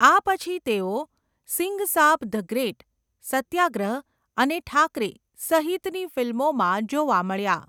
આ પછી, તેઓ 'સિંઘ સાબ ધ ગ્રેટ', 'સત્યાગ્રહ' અને 'ઠાકરે' સહિતની ફિલ્મોમાં જોવા મળ્યાં.